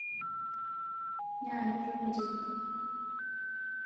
nyaaki tomitiki